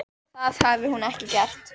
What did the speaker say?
Það hafi hún ekki gert.